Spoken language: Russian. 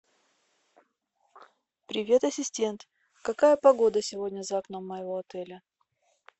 привет ассистент какая погода сегодня за окном моего отеля